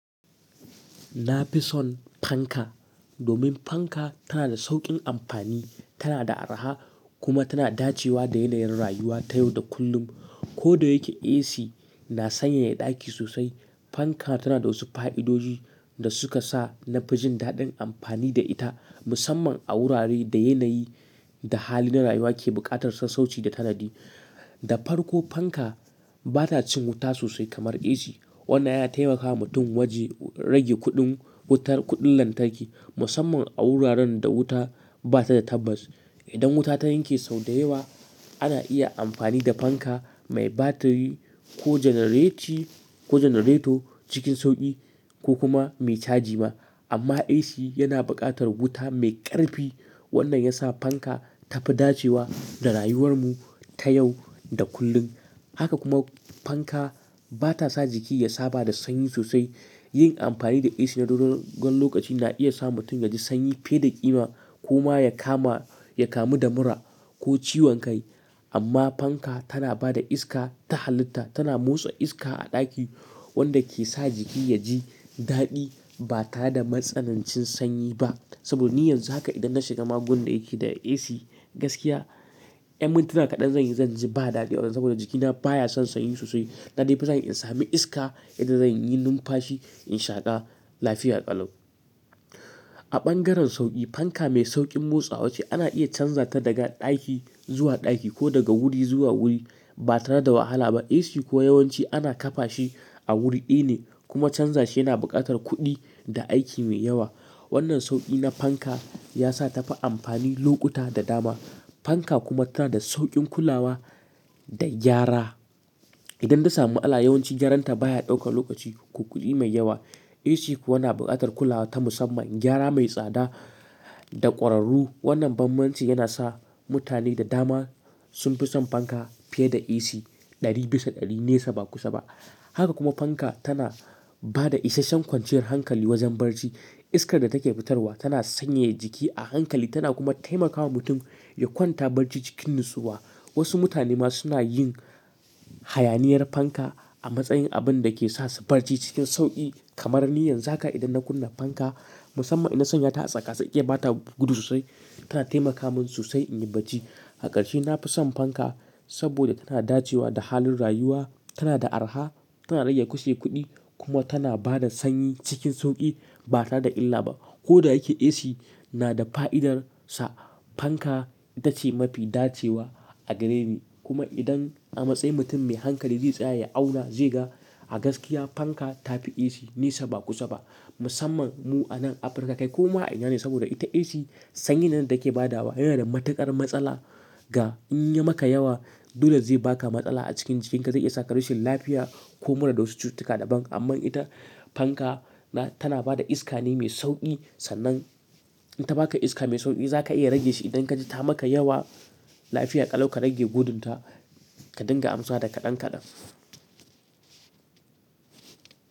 Na fi son fanka domin fanka tana da sauƙin amfani, tana da araha kuma tana dacewa da yanayin rayuwa ta yau da kullum. Ko da yake AC na sanyaya ɗaki sosai, fanka tana da wasu fa'idodi da suka sa na fi jin daɗin amfani da ita musamman a wurare da yanayi da hali na rayuwa ke buƙatar sassauci da tanadi. Da farko fanka bata cin wuta sosai kamar AC. Wannan ya taimaka wa mutum waje rage kuɗin wutar-- kuɗin lantarki musamman a wuraren da wuta bata da tabbas. Idan wuta ta yanke sau da yawa ana iya amfani da fanka mai batiri ko genereti-- ko generator cikin sauƙi ko kuma mai caji ma. Amma AC yana buƙatar wuta mai ƙarfi. Wannan ya sa fanka ta fi dacewa da rayuwar mu ta yau da kullum. Haka kuma fanka bata sa jiki ya saba da sanyi sosai. Yin amfani da AC na dogon lokaci na iya sa mutum ya ji sanyi fiye da ƙima kuma ya kama-- ya kamu da mura ko ciwon kai. Amma fanka tana ba da iska ta halitta, tana motsa iska a ɗaki wanda ke sa jiki ya ji daɗi ba tare da matsanancin sanyi ba. Saboda niyyan haka idan na shiga magon da yake da AC gaskiya, ƴan mintuna kaɗan zan yi zan ji ba daɗi saboda jikina baya son sanyi sosai. Naɗi fa zan iya in sami iska idan zan yi numfashi in shaƙa lafiya ƙalau. A bangaren sauƙi fanka mai sauƙin motsa wa ce ana iya canza ta daga ɗaki zuwa ɗaki ko daga wuri zuwa wuri ba tare da wahala ba. AC kuwa yawanci ana kafa shi a wuri ɗaya ne kuma canza shi yana buƙatar kuɗi da aiki mai yawa. Wannan sauƙi na fanka ya sa ta fi amfani lokuta da dama. Fanka kuma tana da sauƙin kulawa da gyara. Idan ta samu ala yawanci gyaran ta baya ɗaukar lokaci ko kuɗi mai yawa. AC kuwa na buƙatar kulawa ta musamman gyara mai tsada da ƙwararru. Wannan bambanci yana sa mutane da dama sun fi son fanka fiye da AC ɗari bisa ɗari nesa ba kusa ba. Haka kuma fanka tana ba da isasshen kwanciyar hankali wajen barci. Iskar da take fitarwa tana sanyaya jiki a hankali tana kuma taimakawa mutum ya kwanta barci cikin natsuwa. Wasu mutane ma suna yin hayaniyar fanka a matsayin abin da ke sa su barci cikin sauƙi. Kamar niyyan haka idan na kunna fanka musamman ina sanya ta a tsaka sai iya ba ta gudu sosai tana taimaka min sosai in yi barci. Hakarshe na fi son fanka saboda tana dacewa da halin rayuwa, tana da araha, tana rage kahse kuɗi kuma tana ba da sanyi cikin sauƙi ba tare da illa ba. Ko da yake AC na da fa'idarsa fanka ita ce mafi dacewa a gare ni. Kuma idan a matsayin mutum mai hankali zai tsaya ya auna, zai ga a gaskiya fanka ta fi AC nesa ba kusa ba. Musamman mu a nan Afirka kai kuma a yana ne saboda ita AC sanyi na da yake ba da wa yana da matuƙar matsala. Ga in yi maka yawa dole zai baka matsala a cikin jikinka zai iya saka rashin lafiya ko mura da wasu cututtuka daban. Amma ita fanka na- tana ba da iska ne mai sauƙi. Sannan ita ba ka iska mai sauƙi zaka iya rage shi idan ka ji ta maka yawa. Lafiya ƙalau ka rage gudun ta ka dinga amsa da kaɗan kaɗan.